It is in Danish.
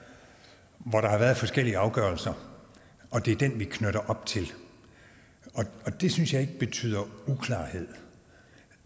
hvor der har været forskellige afgørelser det er den vi knytter an til og det synes jeg ikke betyder uklarhed